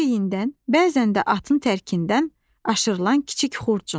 Çiyindən, bəzən də atın tərkindən aşırılan kiçik xurcun.